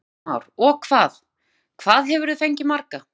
Kristján Már: Og hvað, hvað hefurðu fengið marga?